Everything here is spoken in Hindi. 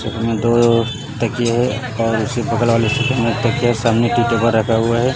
दो तकिया है और उसके बगल रखा हुआ है।